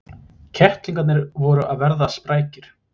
Kettlingarnir voru að verða sprækir.